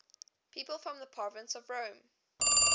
people from the province of rome